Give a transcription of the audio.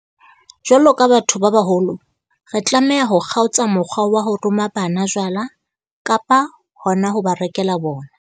Jwalo ka batho ba baholo, re tlameha ho kgaotsa mokgwa wa ho roma bana jwala, kapa hona ho ba rekela bona.